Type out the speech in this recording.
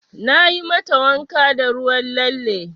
Nayi mata wanka da ruwan lalle.